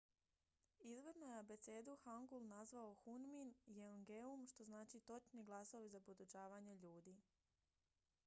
"izvorno je abecedu hangul nazvao hunmin jeongeum što znači "točni glasovi za podučavanje ljudi"".